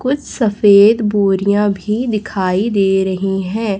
कुछ सफेद बोरियां भी दिखाई दे रही हैं।